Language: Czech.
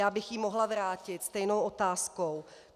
Já bych ji mohla vrátit stejnou otázkou.